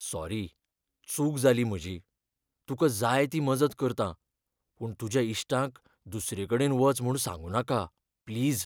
Sorry, चूक जाली म्हजी. तुका जाय ती मजत करतां. पूण तुज्या इश्टांक दुसरेकडेन वच म्हूण सांगनााका, प्लीज.